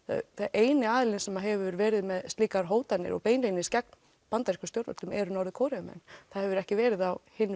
eini aðilinn sem hefur verið með slíkar hótanir og beinlínis gegn bandarískum stjórnvöldum eru Norður Kóreumenn það hefur ekki verið á hinn